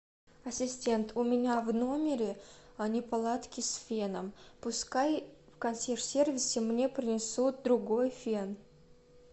ассистент у меня в номере неполадки с феном пускай в консьерж сервисе мне принесут другой фен